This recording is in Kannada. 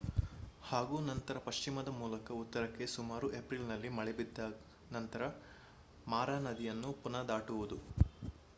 ಹಾಗೂ ನಂತರ ಪಶ್ಚಿಮದ ಮೂಲಕ ಉತ್ತರಕ್ಕೆ ಸುಮಾರು ಏಪ್ರಿಲ್‌ನಲ್ಲಿ ಮಳೆ ಬಿದ್ದ ನಂತರ ಮಾರಾ ನದಿಯನ್ನು ಪುನಃ ದಾಟುವುದು